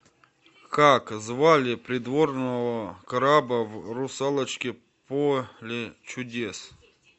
как звали придворного краба в русалочке поле чудес